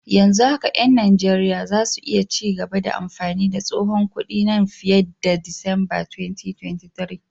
Yanzu haka 'yan Najeriya za su iya ci gaba da amfani da tsohon kudin nan fiye da Disamba 2023.